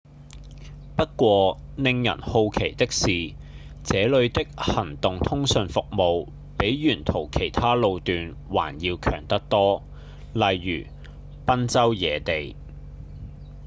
不過令人好奇的是這裡的行動通訊服務比沿途其他路段還要強得多例如賓州野地